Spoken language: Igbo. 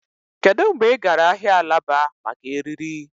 Kedu mgbe ị gara ahịa alaba maka èrírí?